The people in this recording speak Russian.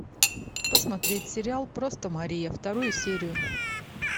посмотреть сериал просто мария вторую серию